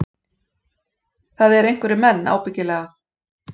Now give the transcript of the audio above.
Það eru einhverjir menn, ábyggilega